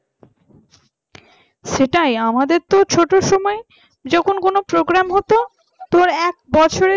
সেটাই আমাদের তো ছোট সময় যখন কোন program হতো তোমার এক বছরের